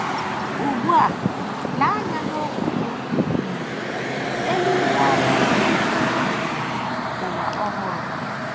Ugbu a lee anya n’okwu bụ́ “ um eluigwe ọhụrụ na um ụwa ọhụrụ. ”